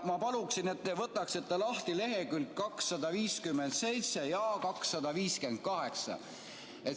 Ma paluksin, et te võtaksite lahti leheküljed 257 ja 258.